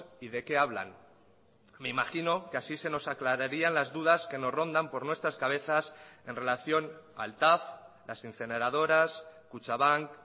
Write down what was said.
y de qué hablan me imagino que así se nos aclararían las dudas que nos rondan por nuestras cabezas en relación al tav las incineradoras kutxabank